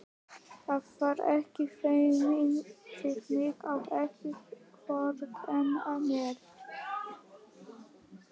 Að vera ekki feiminn við mig og ekki vorkenna mér!